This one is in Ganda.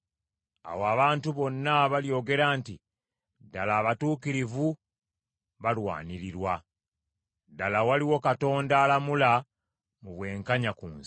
Awo abantu bonna balyogera nti, “Ddala, abatuukirivu balwanirirwa. Ddala waliwo Katonda alamula mu bwenkanya ku nsi.”